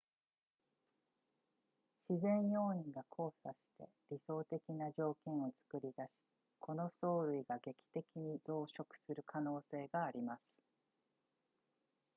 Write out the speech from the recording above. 自然要因が交錯して理想的な条件を作り出しこの藻類が劇的に増殖する可能性があります